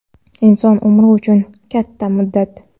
Inson umri uchun katta muddat.